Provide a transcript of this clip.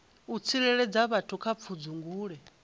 u tsireledza vhathu kha pfudzungule